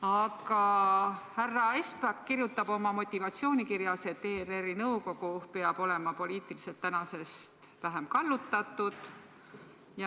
Aga härra Espak kirjutab oma motivatsioonikirjas, et ERR-i nõukogu peab täna olema poliitiliselt vähem kallutatud.